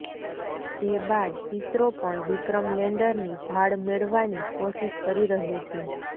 જે બાદ ઈસરો પણ વિક્રમ લેન્ડરની ભાળ મેળવાની કોશિશ કરી રહ્યુ છે